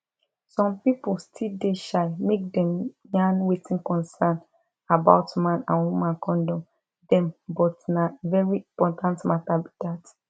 some people still dey shy make dem yarn wetin concern about man and woman condom dem but na very important matter be dat